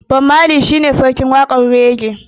Bob marley shi ne sarkin waƙar raggae.